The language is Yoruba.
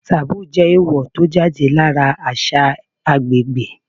Taboo jẹ́ èèwò tó jáde lára àṣà agbègbè.